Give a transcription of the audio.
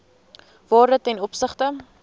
waarde ten opsigte